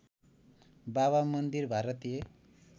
बाबा मन्दिर भारतीय